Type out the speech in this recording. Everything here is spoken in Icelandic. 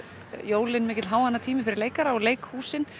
jólin mikill háannatími fyrir leikara og leikhúsin